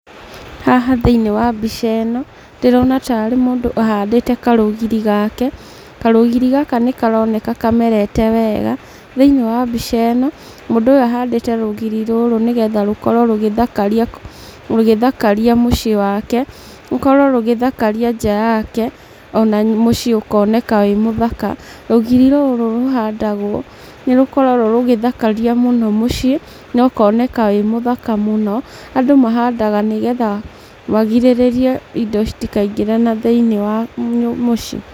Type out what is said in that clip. Haha thĩinĩ wa mbica ĩno, ndĩrona ta arĩ mũndũ ahandĩte karũgiri gake. Karũgiri gaka nĩkaroneka kamerete wega. Thĩinĩ wa mbica ĩno, mũndũ ũyũ ahandĩte rũgiri rũrũ nĩgetha rũkorwo rũgĩthakaria mũciĩ wake, rũkorwo rũgĩthakaria nja yake, ona mũciĩ ũkoneka wĩmũthaka. Rũgiri rũrũ rũhandagwo nĩrũkoragwo rũgĩthakaria mũno mũciĩ, na ũkoneka wĩ mũthaka mũno. Andũ mahandaga nĩgetha magirĩrĩrie indo citikaingĩre na thĩinĩ wa mũciĩ.